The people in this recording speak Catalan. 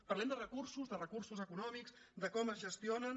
parlem de recursos de recursos econòmics de com es gestionen